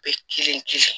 Bɛ kelen kelen